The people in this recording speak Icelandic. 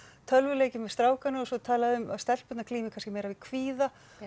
tölvuleiki um strákana og svo talað um að stelpur glími kannski meira við kvíða